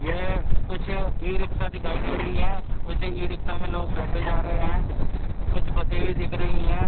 यह कुछ ई रिक्शा दिखाई दे रही है कुछ ई रिक्शा में लोग बैठ जा रहे हैं कुछ बसें भी दिख रही हैं।